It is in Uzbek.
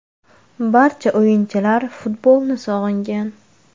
Barcha o‘yinchilar futbolni sog‘ingan.